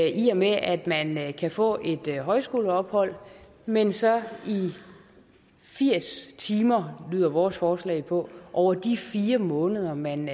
i og med at man kan få et højskoleophold men så i firs timer lyder vores forslag på over de fire måneder man